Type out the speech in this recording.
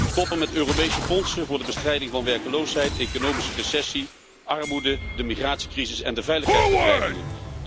Stoppen met Europese fondsen voor de bestrijding van werkloosheid, economische recessie, armoede, de migratiecrisis en de veiligheidsbedreigingen.